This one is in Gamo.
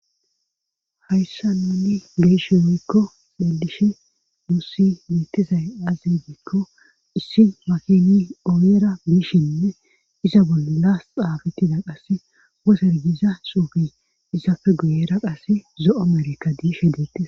Hayssa nuni geeshe weykko edishe mussi miittizay azigikko issi makini oyera biishinne iza bollaas xaabittida qasse wo sergiza suufi isafe guyera qasse zo7o merikka diishe deettisa